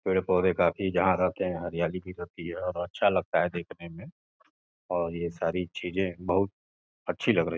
पेड़ पौधे काफी जहां रहते हैं हरियाली भी रहती है और अच्छा लगता है देखने में और ये सारी चीजें बहुत अच्छी लग रही।